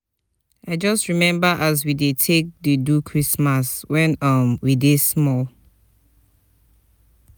i just rememba as we dey take take do christmas wen um we dey small.